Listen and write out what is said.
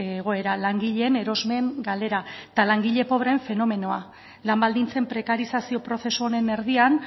egoera langileen erosmen galera eta langile pobreen fenomenoa lan baldintzen prekarizazio prozesu honen erdian